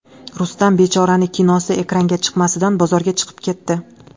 Rustam bechorani kinosi ekranga chiqamasidan bozorga chiqib ketdi .